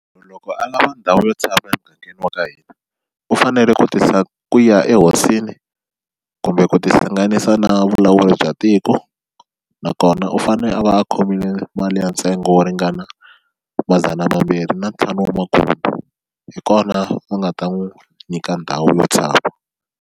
Loko a lava ndhawu yo tshama emugangeni wa ka hina u fanele ku tisa ku ya ehosini kumbe ku tihlanganisa na vulawuri bya tiko nakona u fane a va a khomile mali ya ntsengo wo ringana madzana mambirhi na ntlhanu wa hi kona va nga ta n'wi nyika ndhawu yo tshama.